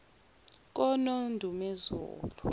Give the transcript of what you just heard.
konondumezulu